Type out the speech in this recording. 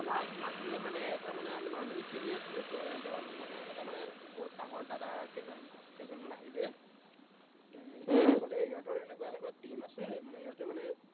আমাক মাতিলে মানে এটা মানে আমি normally খেলি আছিলোতো, এজন মানে, এটা মানে বহুত ডাঙৰ দাদা কেইজন, কেইজনমান আহিলে সিহঁতে কলে সিহঁতৰ এনেকুৱা এনেকুৱা team আছে সিহঁতৰ মানে